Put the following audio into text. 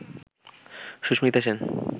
Susmita Sen